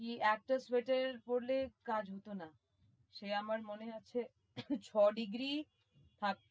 তুমি একটা সোয়েটার পরলে কাজ হতো না সে আমার মনে আছে ছয় degree